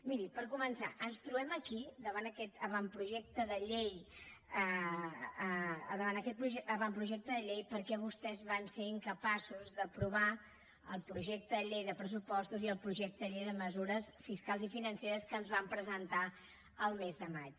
miri per començar ens trobem aquí davant aquest avantprojecte de llei perquè vostès van ser incapaços d’aprovar el projecte de llei de pressupostos i el projecte de llei de mesures fiscals i financeres que ens van presentar el mes de maig